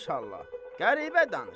Maşallah, qəribə danışır.